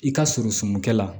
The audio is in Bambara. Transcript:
I ka surun sunkɛ la